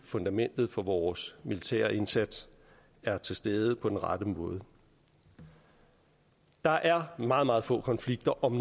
fundamentet for vores militære indsats er til stede på den rette måde der er meget meget få konflikter om